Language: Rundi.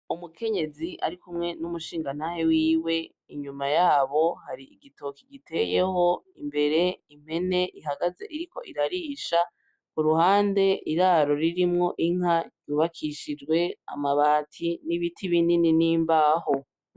Umukenyezi ari kumwe n'umushingantahe wiwe inyuma yabo hari igitoki giteyeho imbere impene ihagaze iriko irarisha ku ruhande iraro ririmwo inka ryubakishijwe amabati n'ibiti binini n'imbaho.